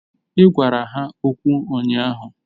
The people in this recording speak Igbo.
Ị gwara ya okwu ụnyaahụ